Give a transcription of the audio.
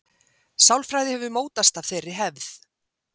Sálfræði hefur mótast af þeirri hefð.